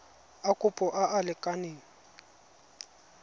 a kopo a a lekaneng